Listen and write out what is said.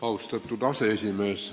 Austatud aseesimees!